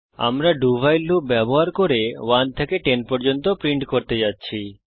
আমরা do while loop ব্যবহার করে 1 থেকে 10 পর্যন্ত প্রিন্ট করতে যাচ্ছি